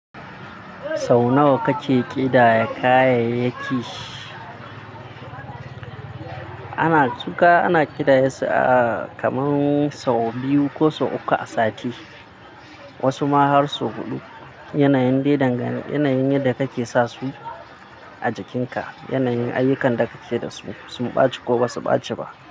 Sau nawa kake ƙidaya kayayyaki? Su kaya ana ƙidayasu kamar sau biyu ko sau uku a sati. Wasu ma har sau huɗu. Yanayin yadda kake sa su a jakinka, yanayin ayyukan da kake da su, sun ɓaci ko ba su ɓaci ba.